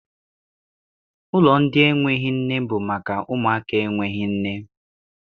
Ụlọ ndị enweghị nne bụ maka ụmụaka enweghị nne.